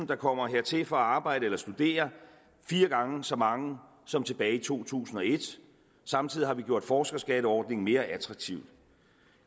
der kommer hertil for at arbejde eller studere fire gange så mange som tilbage i to tusind og et samtidig har vi gjort forskerskatteordningen mere attraktiv